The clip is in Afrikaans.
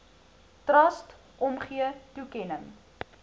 trust omgee toekenning